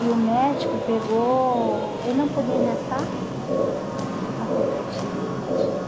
E o médico pegou... Ele não podia engessar, uhum, porque eu estava com os peitos cheios de leite. Uhum